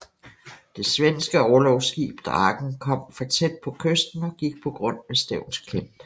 Det svenske orlogsskib Draken kom for tæt på kysten og gik på grund ved Stevns Klint